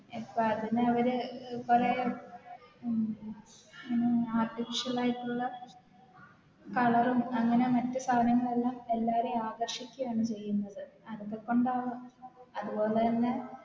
ഇപ്പതിനവര് കൊറേ ഉം ഉം Artificial ആയിട്ടുള്ള Colour ഉം അങ്ങനെ മറ്റ് സാനങ്ങളെല്ലാം എല്ലാരേം ആകർഷിക്കാണ് ചെയ്യുന്നത് അതൊക്കെ കൊണ്ടാവാം അതുപോലെന്നെ